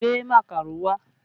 Gbé màkàró wá!